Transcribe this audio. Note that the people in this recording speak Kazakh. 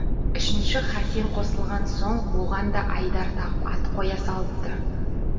үшінші хасен қосылған соң оған да айдар тағып ат қоя салыпты